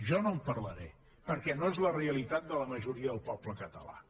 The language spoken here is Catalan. jo no en parlaré perquè no és la realitat de la majoria del poble català